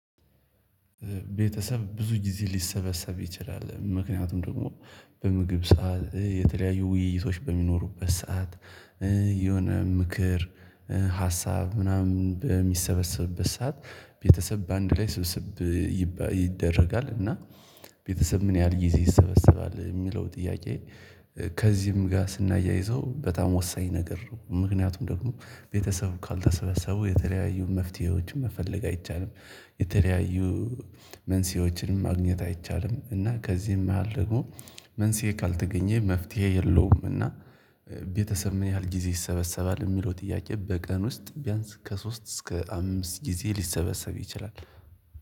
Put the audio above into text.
ቤተሰብ ብዙ ጊዜ ሊሰበሰብ ይችላል። ምክንያቱም ደግሞ በምግብ ሰዓት የተለያዩ ውይይቶች በሚኖሩበት ሰዓት የሆነ ምክር ሀሳብ ምናምን በሚሰበሰብበት ሰዓት ቤተሰብ በአንድ ላይ ስብስብ። ይደረጋል እና ቤተሰብ ምን ያህል ጊዜ ይሰበሰባል የሚለው ጥያቄ? ከዚህም ጋር ስናያይዘው በጣም ወሳኝ ነገር ነው። ምክንያቱም ደግሞ ቤተሰቡ ካልተሰበሰቡ የተለያዩ መፍትሄዎችን መፈለግ አይቻልም። የተለያዩ መንስኤዎችንም ማግኘት አይቻልም። እና ከዚህም መሃል ልጎ መንስኤ ካልተገኘ መፍትሄ የለውም። እና ቤተሰብ ምን ያህል ጊዜ ይሰበሰባል የሚለው ጥያቄ? በቀን ውስጥ ቢያንስ ከሶስት እስከ አምስት ጊዜ ሊሰበሰብ ይችላል።